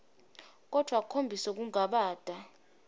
kodvwa akhombise kungabata